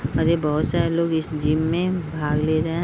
और ये बहोत सारे लोग इस जिम में भाग ले रहे हैं।